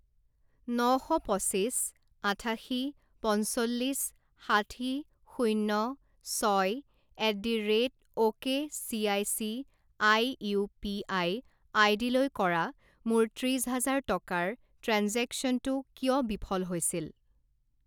ন শ পঁচিছ আঠাশী পঞ্চল্লিছ ষাঠি শূণ্য ছয় at the rate ok C I C I UPI আইডিলৈ কৰা মোৰ ত্ৰিশ হাজাৰ টকাৰ ট্ৰেঞ্জেকশ্যনটো কিয় বিফল হৈছিল?